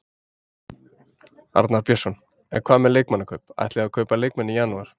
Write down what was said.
Arnar Björnsson: En hvað með leikmannakaup, ætlið þið að kaupa leikmenn í janúar?